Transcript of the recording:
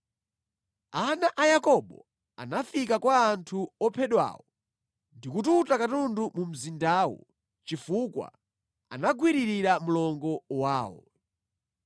Ana a Yakobo anafika kwa anthu ophedwawo ndi kututa katundu mu mzindawo chifukwa anagwiririra mlongo wawo.